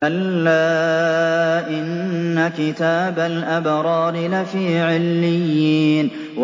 كَلَّا إِنَّ كِتَابَ الْأَبْرَارِ لَفِي عِلِّيِّينَ